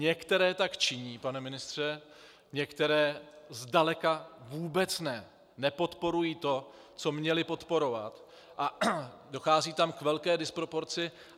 Některé tak činí, pane ministře, některé zdaleka vůbec ne, nepodporují to, co měly podporovat, a dochází tam k velké disproporci.